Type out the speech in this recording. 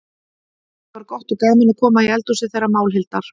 Það var gott og gaman að koma í eldhúsið þeirra Málhildar.